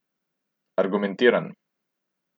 Argumentiran.